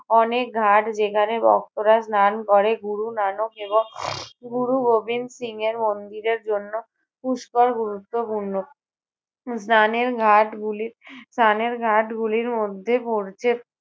অনেক ঘাট যেখানে ভক্তরা স্নান করে গুরু নানক এবং গুরু গোবিন্দ সিং এর মন্দিরের জন্য পুষ্কর গুরুত্বপূর্ণ। উহ স্নানের ঘাটগুলি স্নানের ঘাটগুলির মধ্যে পড়ছে